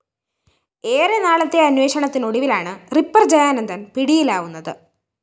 ഏറെനാളത്തെ അന്വേഷണത്തിനൊടുവിലാണ് റിപ്പർ ജയാനന്ദന്‍ പിടിയിലാവുന്നത്